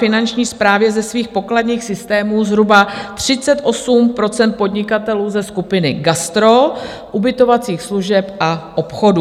Finanční správě ze svých pokladních systémů zhruba 38 % podnikatelů ze skupiny gastro, ubytovacích služeb a obchodů.